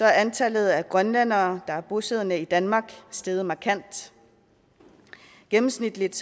er antallet af grønlændere der er bosiddende i danmark steget markant gennemsnitligt